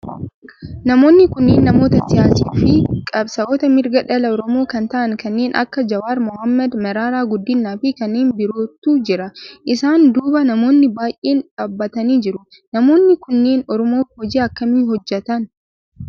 Namoonni kunneen namoota siyaasaa fi qabsaa'ota mirga dhala oromoo kan ta'aan kanneen akka Jawaar mohaammed, Mararaa Guddinaa fi kanneen birootu jira. Isaan duuba namoonni baayyeen dhaabbatanii jiru. Namoonni kunneen oromoof hoji akkamii hojjetan?